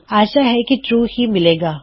ਆਸ਼ਾ ਹੈ ਕੀ ਟਰੂ ਹੀ ਮਿਲੇਗਾ